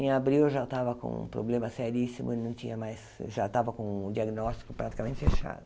Em abril eu já estava com um problema seríssimo, e não tinha mais já estava com o diagnóstico praticamente fechado.